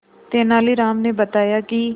तेनालीराम ने बताया कि